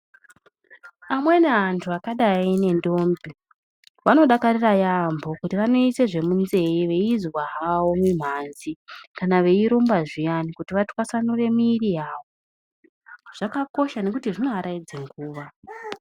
Amweni antu akadai nendombi vanodakarira yambo kuti vanoisa zvemunzeve veizwa havo mimhanzi kana veirumba zviyani veitwasanura mwiri yavo zvakakosha maningi nekuti zvinovaraidza nguva.